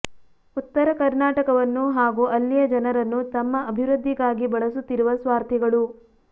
ಉತ್ತರ ಕರ್ನಾಟಕವನ್ನು ಹಾಗು ಅಲ್ಲಿಯ ಜನರನ್ನು ತಮ್ಮ ಅಭಿವೃದ್ಧಿಗಾಗಿ ಬಳಸುತ್ತಿರುವ ಸ್ವಾರ್ಥಿಗಳು